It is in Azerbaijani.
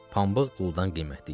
Pambıq quldan qiymətli idi.